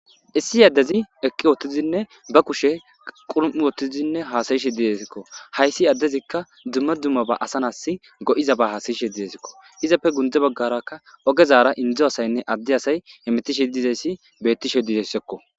Issi addezi eqqi woottizinne ba kushe qurum'u wottizinne haasayishe didezikko hayssi addezikka dumma dummaba asanas go'iza ba haasayishe diezikko izapfe gundze baggarakka ogezara indzo asaynne adde asay emetishe dizayssi bettishe dideyssekko